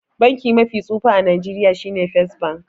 Banki mafi tsufa a Nigeria shine first bank.